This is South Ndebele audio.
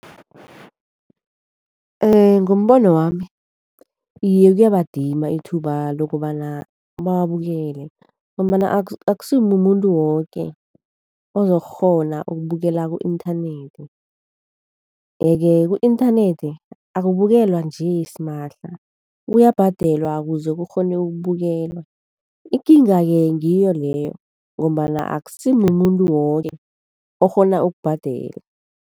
Ngombono wami iye kuyabadima ithuba lokobana bawabukele, ngombana akusimumuntu woke ozokukghona ukubukela ku-inthanethi. Yeke ku-inthanethi akubukelwa nje simahla, kuyabhadelwa ukuze kukghone ukubukelwa. Ikinga-ke ngiyo leyo ngombana akusimumuntu woke okghona ukubhadela.